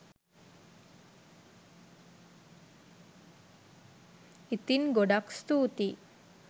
ඉතින් ගොඩාක් ස්තූතියි